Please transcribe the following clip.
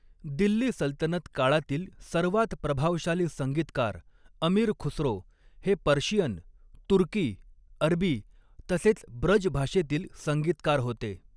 दिल्ली सल्तनत काळातील सर्वात प्रभावशाली संगीतकार, अमीर खुसरो, हे पर्शियन, तुर्की, अरबी, तसेच ब्रज भाषेतील संगीतकार होते.